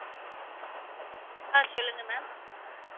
ஆஹ் சொல்லுங்க ma'am